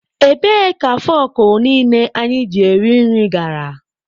Ebee ka fọkụ niile anyị ji eri nri gara?